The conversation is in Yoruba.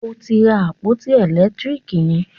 O ò tí ì ra àpótí ẹ̀lẹ́tírìkì yẹn.